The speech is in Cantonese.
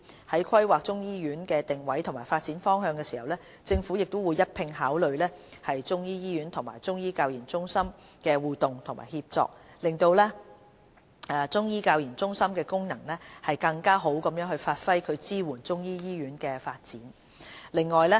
在規劃中醫醫院的定位及發展方向時，政府會一併考慮中醫醫院與中醫教研中心的互動及協作，讓中醫教研中心的功能更好地發揮並支援中醫醫院的發展。